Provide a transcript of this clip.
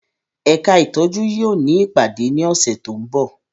Ẹka itọju yóò ni ipade ni ọsẹ to nbọ